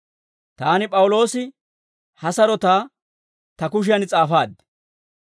Taani P'awuloosi ha sarotaa ta kushiyan s'aafaad.